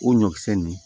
O ɲɔkisɛ nin